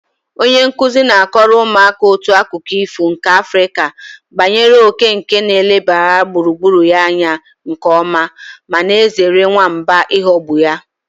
Onye nkuzi na-akọrọ ụmụaka otu akụkọ ifo nke Afrịka banyere òké nke na-elebara gburugburu ya anya nke ọma ma na-ezere nwamba ịghọgbụ ya.